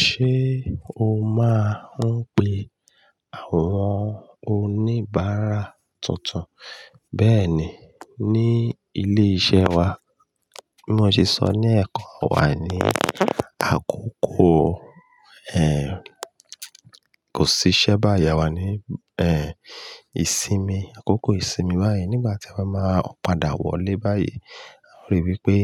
Ṣé o máa ń pe àwọn oníbàárà tuntun bẹ́ẹ̀ni ní ilé iṣẹ́ wa? Bí mo ṣe sọ ní ẹ̀kọ́ wa ní àkókò, kò sí iṣẹ́ báyìí, wa ní, ìsinmi, àkókò ìsinmi báyìí nígbà tí a bá máa padà wọlé báyìí. A ríi pé